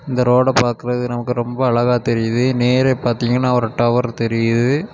இந்த ரோட பாக்குறது நமக்கு ரொம்ப அழகா தெரியுது நேரே பாத்தீன்கனா ஒரு டவர் தெரியுது.